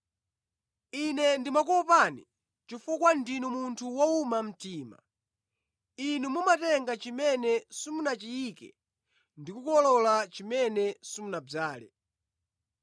Ine ndimakuopani, chifukwa ndinu munthu wowuma mtima. Inu mumatenga chimene simunachiyike ndi kukolola chimene simunadzale.’